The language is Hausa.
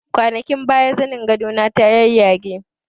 Kwanakin baya zanin gado na ta yayyage